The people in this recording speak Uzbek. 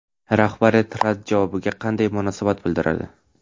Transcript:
Rahbariyat rad javobiga qanday munosabat bildiradi?